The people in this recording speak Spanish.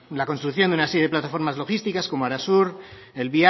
la construcción de una serie de plataformas logísticas como arasur el